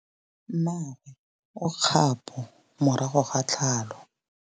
Mmagwe o kgapô morago ga tlhalô.